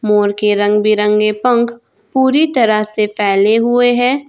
मोर के रंग बिरंगे पंख पूरी तरह से फैले हुए हैं।